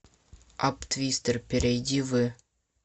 апп твистер перейди в